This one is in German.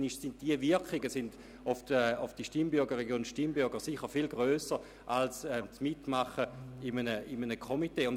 Die Wirkung dieser Handlungen auf die Stimmbürgerinnen und Stimmbürger ist sicher viel grösser, als wenn sie in einem Komitee mitmachen würden.